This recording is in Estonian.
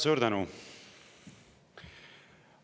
Suur tänu!